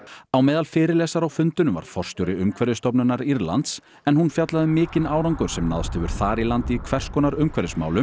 á meðal fyrirlesara á fundinum var forstjóri Umhverfisstofnunar Írlands en hún fjallaði um mikinn árangur sem náðst hefur þar í landi í hvers konar umhverfismálum